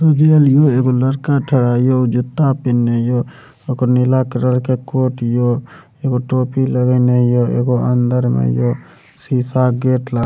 एगो लड़का ठरा हिए जूता पिन्ने हिए ओकर नीला कलर के कोट हिए एगो टोपी लगएले हिए एगो अंदर में शीशा गेट लागल --